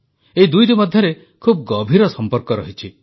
ଏଇ ଦୁଇଟି ମଧ୍ୟରେ ଖୁବ ଗଭୀର ସମ୍ପର୍କ ରହିଛି